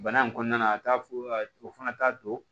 Bana in kɔnɔna na a t'a fɔ o fana t'a don